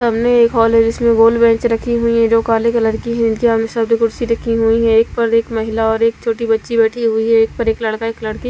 सामने एक हॉल है जिसमें गोल बेंच रखी हुई है जो काले कलर की है इनके सामने शब्द कुर्सी रखी हुई है एक पर एक महिला और एक छोटी बच्ची बैठी हुई है एक पर एक लड़का एक लड़की --